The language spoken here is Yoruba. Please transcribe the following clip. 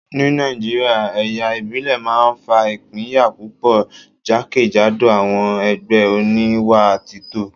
Ní Nàìjíríà, ẹ̀yà ìbílẹ̀ máa ń fa ìpínyà púpọ̀ jákèjádò àwọn ẹgbẹ́ oníwà títọ́